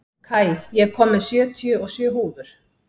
Kai, ég kom með sjötíu og sjö húfur!